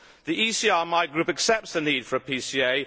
The ECR, my group, accepts the need for a PCA